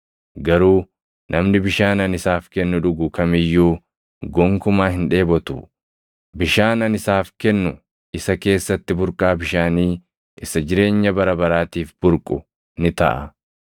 garuu namni bishaan ani isaaf kennu dhugu kam iyyuu gonkumaa hin dheebotu. Bishaan ani isaaf kennu isa keessatti burqaa bishaanii isa jireenya bara baraatiif burqu ni taʼa.”